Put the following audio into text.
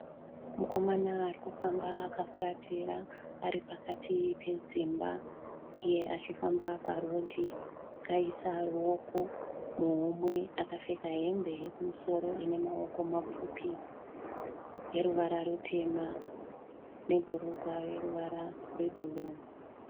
Mukomana ari kufamba akafuratira ari pakati pedzimba uye achifamba parodhi. Akaisa ruoko muhomwe akapfeka hembe yekumusoro ine maoko mapfupi yeruvara rutema nebhurugwa reruvara rwebhuruu.